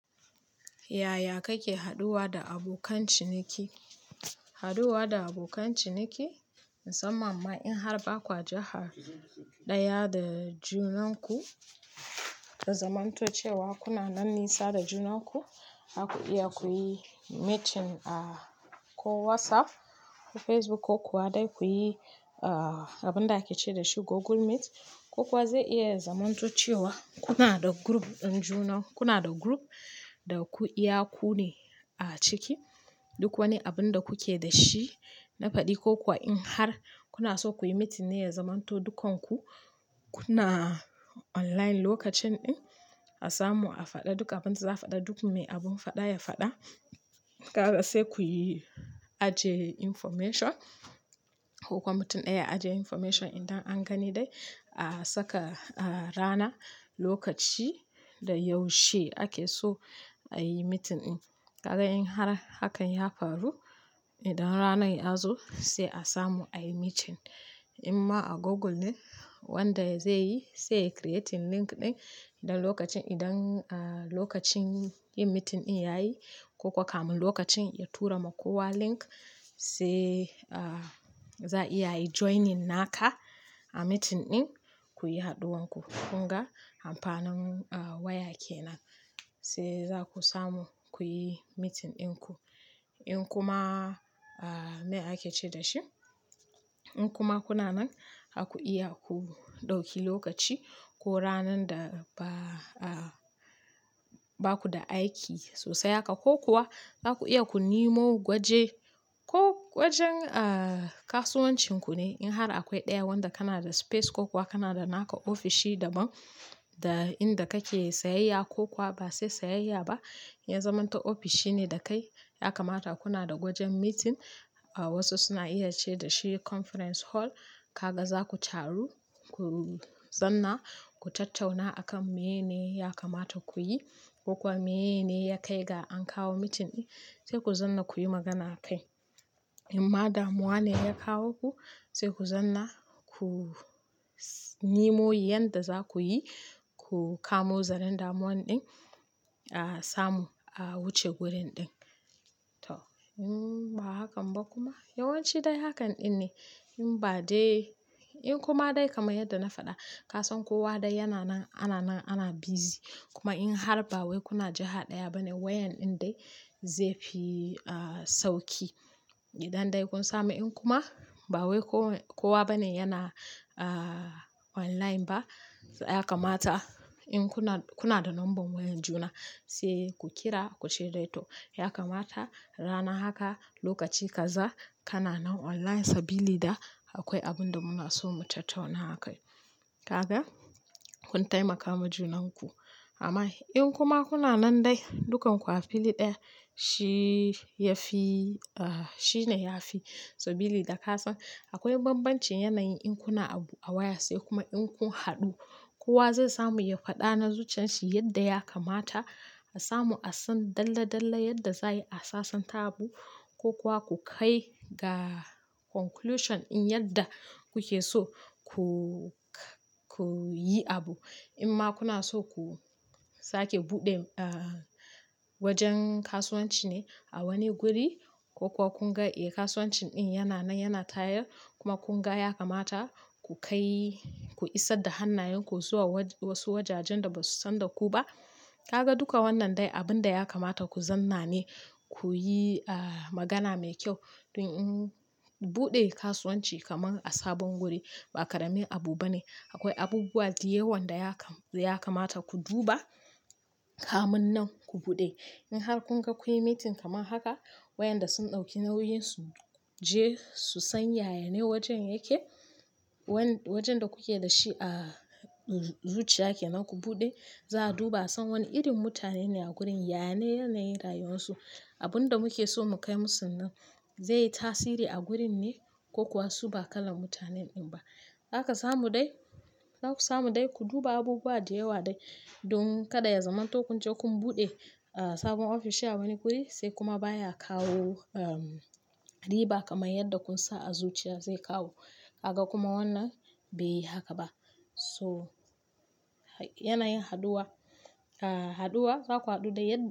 Yaya kake haɗuwa da abokan ciniki? Haɗuwa da abokan ciniki, musamman ma in har ba kwa jihar ɗaya da junanku, ka zamanto cewa kuna nan nisa da junanku, za ku iya ku yi meeting a ko WhatsApp, ko Facebook ko kuwa dai ku yi, ah, abin da ake ce da shi Google Meet, ko kuwa zai iya zamantocewa kuna da group ɗin juna. Kuna da group da ku iya kunne a ciki. Duk wani abun da kuke da shi na faɗi ko kuwa in har kuna so ku yi meeting ne ya zamanto dukanku kuna online lokacin ɗin, a samu a faɗa duk abin da za a faɗa. Duk mai abin faɗa ya faɗa. Kaga sai kuyi ajiye information ko kuma mutum ɗaya ya ajiye information. Idan an gani dai a saka, ah, rana, lokaci da yaushe ake so ayi meeting ɗin. Kaga in har hakan ya faru, idan ranar ya zo sai a samu ayi meeting. In ma a Google ne wanda zai yi, sai ya creating link ɗin. Idan lokacin, idan, ah, lokacin yin meeting ɗin ya yi ko kuwa kamin lokacin ya tura ma kowa link sai, ah, za iya yi joining naka a meeting ɗin kuyi haɗuwan ku. Kun ga amfanin, ah, waya kenan sai za ku samu kuyi meeting ɗin ku. In kuma, ah, me ake ce da shi? In kuma kuna nan, za ku iya ku ɗauki lokaci ko ranar da ba, ah, baku da aiki sosai haka ko kuwa za ku iya ku nemo gwaje ko gwajen, ah, kasuwancin ku ne in har akwai ɗaya wanda kana da space ko kuwa kana da naka ofishi daban da inda kake sayayya ko kuwa ba sai sayayya ba ya zamanto ofishi ne da kai. Ya kamata kuna da gwajen meeting. Ah, wasu suna iya ce da shi conference hall. Kaga za ku taru, ku zamna, ku tattauna akan mene ne ya kamata ku yi ko kuwa mene ya kai ga an kawo meeting ɗin. Sai ku zamna kuyi magana akai. In ma damuwa ne ya kawo ku. Sai ku zamna ku nimo yanda za ku yi, ku kamo zaran damuwan ɗin, a samu a wuce gurin ɗin. To, in ba hakan ba kuma yawanci dai hakan ɗin ne. In ba dai, in kuma dai kamar yadda na faɗa, ka san kowa dai yana nan, ana nan, ana busy. Kuma in har ba wai kuna jihar ɗaya bane wayan ɗin dai zai fi, ah, sauƙi. Idan dai kun samu in kuma ba wai ko-kowa bane yana, ah, online ba, ya kamata in kuna, kuna da number wayan juna sai ku kira ku ce dai to ya kamata rana haka, lokaci kaza kana nan online sabili da akwai abun da muna so mu tattauna a kai. Kaga, kun taimaka ma junanku. Amma in kuma kuna nan dai, dukan ku a fili ɗaya shi ya fi, ah, shine ya fi sabili da ka san akwai banbancin yanayi in kuna abu a waya sai kuma in kun haɗu. Kowa zai samu ya faɗa na zuciyan shi yadda ya kamata. A samu a san dalla dalla yadda za a yi, a sasanta abu ko kuwa ku kai ga conclusion din yadda kuke so ku-ku yi abu. In ma kuna so ku sake buɗe, ah, wajen kasuwanci ne a wani guri ko kuwa kun ga, eh, kasuwancin ɗin yana nan yana tayar kuma kun ga ya kamata ku kai, ku isar da hannayenku zuwa wasu wajajen da ba su san da ku ba. Kaga duka wannan dai abun da ya kamata ku zamna ne kuyi, ah, magana mai kyau. Don in buɗe kasuwanci kamar a sabon guri ba karamin abu bane. Akwai abubuwa da yawan da ya kam-ya kamata ku duba kamin nan ku buɗe. In har kun ga kuyi meeting kamar haka, wayanda sun ɗauki nauyin su je su san yaya ne wajen yake, wan wajen da kuke da shi a zuciya kenan ku buɗe, za a duba a san wane irin mutane ne a gurin, yane yanayi rayuwarsu. Abun da muke so mu kai musu nan zai yi tasiri a gurin ne ko kuwa su ba kalan mutanen ɗin ba. Zaka samu dai, zaku samu dai ku duba abubuwa da yawa dai don kada ya zamanto kun je kun buɗe, ah, sabon ofishi a wani guri sai kuma baya kawo, ehm, riba kaman yadda kun sa a zuciya zai kawo. Kaga kuma wannan bai yi haka ba. To yanayin haɗuwa, ah, haɗuwa za ku haɗu da ya.